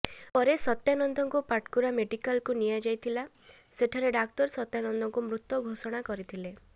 ପରେ ସତ୍ୟାନନ୍ଦଙ୍କୁ ପାଟକୁରା ମେଡିକାଲକୁ ନିଆଯାଇଥିଲା ସେଠାରେ ଡାକ୍ତର ସତ୍ୟାନନ୍ଦଙ୍କୁ ମୃତ ଘୋଷଣା କରିଥିଲେ